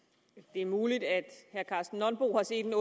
det er muligt at herre karsten nonbo har set